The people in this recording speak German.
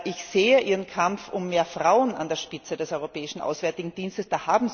Ich sehe Ihren Kampf um mehr Frauen an der Spitze des Europäischen Auswärtigen Dienstes.